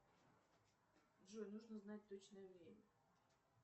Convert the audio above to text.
джой нужно узнать точное время